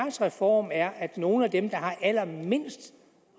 reformen er at nogle af dem der har allermindst